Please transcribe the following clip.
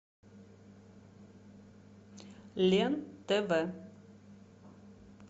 лен тв